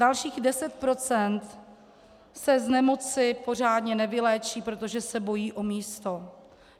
Dalších 10 % se z nemoci pořádně nevyléčí, protože se bojí o místo.